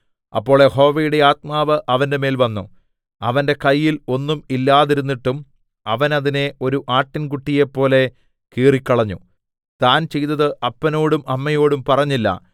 അപ്പോൾ യഹോവയുടെ ആത്മാവ് അവന്റെമേൽ വന്നു അവന്റെ കയ്യിൽ ഒന്നും ഇല്ലാതിരുന്നിട്ടും അവൻ അതിനെ ഒരു ആട്ടിൻകുട്ടിയെപ്പോലെ കീറിക്കളഞ്ഞു താൻ ചെയ്തത് അപ്പനോടും അമ്മയോടും പറഞ്ഞില്ല